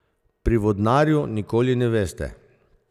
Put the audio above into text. Pri vodnarju nikoli ne veste.